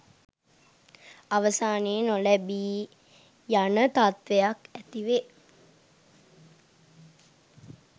අවසානයේ නොලැබී යන තත්ත්වයක් ඇතිවේ.